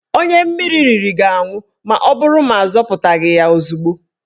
Onye mmiri riri ga-anwụ maọbụrụ na azọpụtaghị ya ozugbo